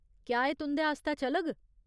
क्या एह् तुं'दे आस्तै चलग ?